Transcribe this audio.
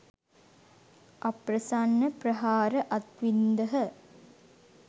අප්‍රසන්න ප්‍රහාර අත්වින්දහ